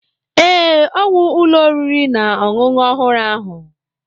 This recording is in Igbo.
Ee, ọ wụ ụlọ oriri na ọṅụṅụ ọhụrụ ahụ.